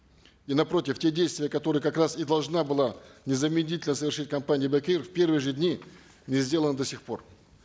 и напротив те действия которые как раз и должна была незамедлительно совершить компания бек эйр в первые же дни не сделаны до сих пор